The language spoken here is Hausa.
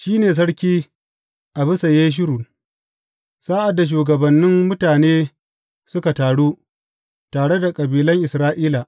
Shi ne sarki a bisa Yeshurun sa’ad da shugabannin mutane suka taru, tare da kabilan Isra’ila.